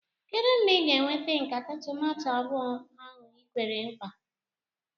Kedụ mgbe ị ga-eweta nkata tomato abụọ ahụ i kwere nkwa?